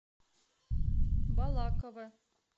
балаково